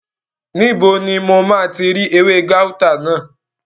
Níbo ni mo máa ti rí ewé gáútà náà?